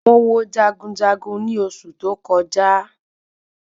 Mo wo jagunjagun ni oṣù tó kọjá